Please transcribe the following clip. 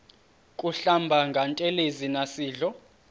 kuhlamba ngantelezi nasidlo